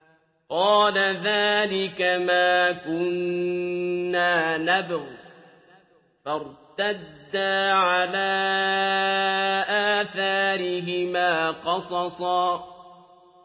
قَالَ ذَٰلِكَ مَا كُنَّا نَبْغِ ۚ فَارْتَدَّا عَلَىٰ آثَارِهِمَا قَصَصًا